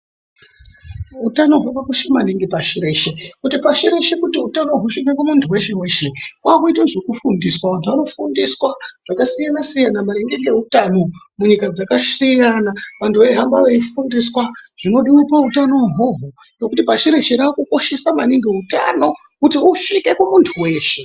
Hutano, hwakakosha maningi pasi reshe kuti pashi reshe kuti hutano husvike kumuntu weshe weshe kwaakuite zvekufundiswa, vantu vanofundiswa zvakasiyana siyana maringe ngehutano munyika dzakasiyana. Vantu vehambe beyifundiswa zvinodiwa pahutano ihwowo ngekuti pashi rese raakukoshesa maningi ,hutano kuti usvike kumuntu weshe.